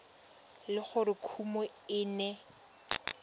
le gore kumo e ne